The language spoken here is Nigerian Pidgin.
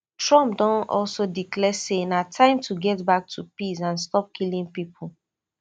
trump don also declare say na time to get back to peace and stop killing pipo